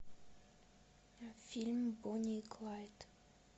фильм бонни и клайд